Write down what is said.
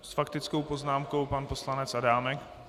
S faktickou poznámkou pan poslanec Adámek.